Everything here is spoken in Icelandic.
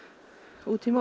út í móa og